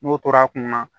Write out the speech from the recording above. N'o tora a kunna